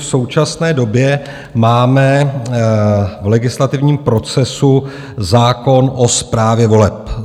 V současné době máme v legislativním procesu zákon o správě voleb.